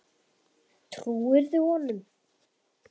Trúirðu honum?